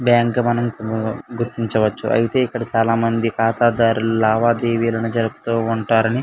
bank అని గుర్తిన్చ వచ్చు ఐతే ఇక్కడ చాలా మంది కాతదారులు లావతీవి జరుగుప్తూఉంటారని --